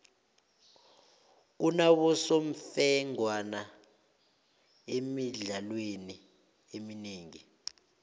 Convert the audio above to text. kunabosemfengwana emidlalweni eminengi